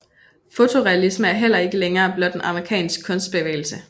Fotorealisme er heller ikke længere blot en amerikansk kunstbevægelse